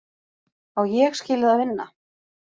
Á Ég skilið að vinna?